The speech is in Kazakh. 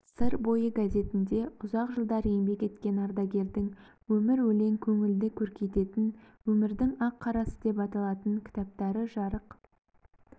сыр бойы газетінде ұзақ жылдар еңбек еткен ардагердің өмір-өлең көңілді көркейтетін өмірдің ақ-қарасы деп аталатын кітаптарыжарық